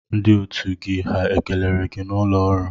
Ndị otu gị ha kelere gị n'ụlọ ọrụ?